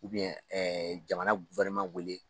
jamana wele